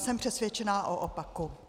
Jsem přesvědčena o opaku.